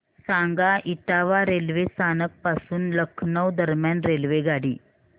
सांगा इटावा रेल्वे स्थानक पासून लखनौ दरम्यान रेल्वेगाडी